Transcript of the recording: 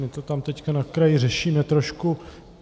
My to tam teď na kraji řešíme trošku.